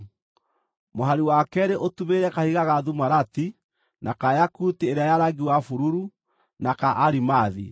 mũhari wa keerĩ ũtumĩrĩre kahiga ga thumarati, na ka yakuti ĩrĩa ya rangi wa bururu, na ka arimathi;